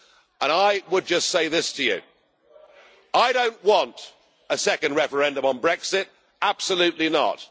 And I would just say this to you I don't want a second referendum on Brexit absolutely not.